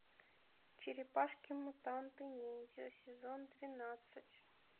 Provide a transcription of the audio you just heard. черепашки мутанты ниндзя сезон двенадцать